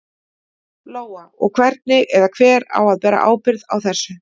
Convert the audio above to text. Lóa: Og hvernig, eða hver á að bera ábyrgð á þessu?